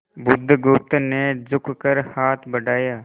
बुधगुप्त ने झुककर हाथ बढ़ाया